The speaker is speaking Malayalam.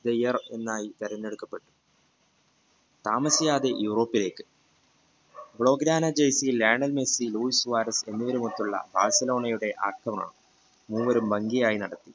theyear എന്നായി തെരഞ്ഞെടുക്കപ്പെട്ടു താമസിക്കാതെ യൂറോപ്പിലേക്ക് ലയണൽമെസ്സി ലൂയിസ് എന്നിവരും മൊത്തമുള്ള ബാർസലോണഅക്രമണംമൂവരും ഭംഗിയായി നടത്തി